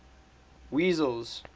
wessels